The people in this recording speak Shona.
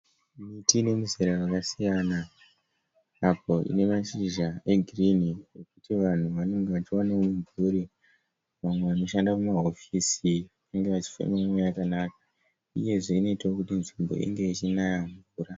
Miti inemizera rakasiyana apo inemashizha egirinhi ekuti vanhu vanenge vachiwanawo mumvuri vamwe vanoshanda mumahofisi vange vachifema mweya yakanaka. Uyezve inoitawo kuti nzvimbo inge ichinaya mvura.